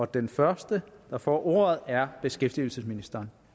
den første der får ordet er beskæftigelsesministeren